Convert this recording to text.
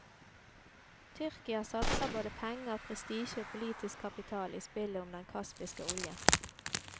Tyrkia satser både penger, prestisje og politisk kapital i spillet om den kaspiske oljen.